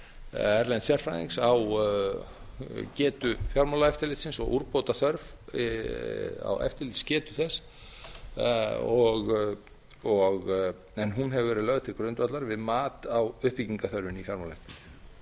erlends sérfræðings á getu fjármálaeftirlitsins og úrbótaþörf á eftirlitsgetu þess en hún hefur verið lög til grundvallar við mat á uppbyggingarþörfinni í fjármálaeftirlitinu